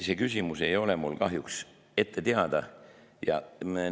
Selle küsimuse ei ole mulle kahjuks teada.